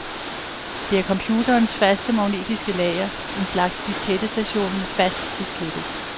Det er computerens faste magnetiske lager, en slags diskettestation med fast diskette.